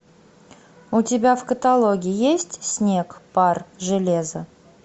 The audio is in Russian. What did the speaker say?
у тебя в каталоге есть снег пар железо